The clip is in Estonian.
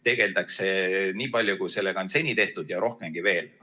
Tegeldakse nii palju, kui seda on seni tehtud ja rohkemgi veel.